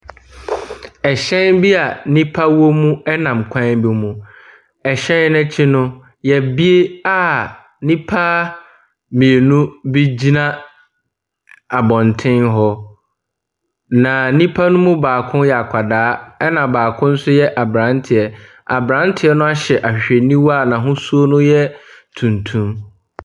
Ɛhyɛn bi a nnipa wɔ mu ɛnam kwan bi mu. Ɛhyɛn no akyi no yɛabue a nnipa mmienu bi gyina abɔnten hɔ. Na nnipa no mu baako yɛ akwadaa na baako nso yɛ abranteɛ. Abranteɛ no ahyɛ ahwehwɛniwa a n'ahosuo no yɛ tuntum.